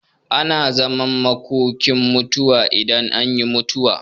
Ana zaman makokin mutuwa idan an yi mutuwa.